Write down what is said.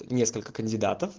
несколько кандидатов